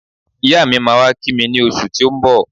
Iya mi máa wá kí mi ní oṣù tí ó ń bọ̀